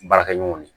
Baarakɛɲɔgɔnw ye